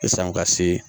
Yasan u ka se